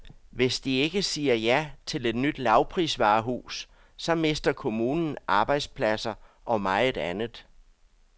Hvis de ikke siger ja til et nyt lavprisvarehus, så mister kommunen arbejdspladser og meget andet.